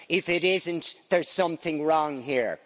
If it isn't, there's something wrong here.